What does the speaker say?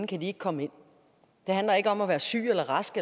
kan komme ind det handler ikke om at være syg eller rask